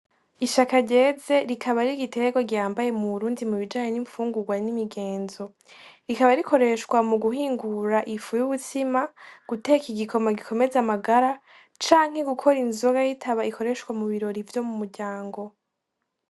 Ishaka ryeze rikaba ari igitegwa gihambaye mu Burundi mubijanye n'imfungugwa nimigenzo rikaba rikoreshwa mu guhingura ifu y'umutsima ,guteka igikoma gikomeza amagara canke gukora inzoga yitaba ikoreshwa mu birori vyo mu muryango.